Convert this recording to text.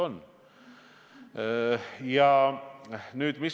On küll.